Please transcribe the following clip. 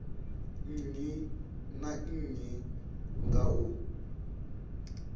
nnyi na nnyi nga u